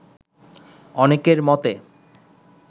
অনেকের মতে,